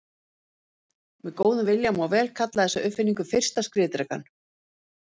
Með góðum vilja má vel kalla þessa uppfinningu fyrsta skriðdrekann.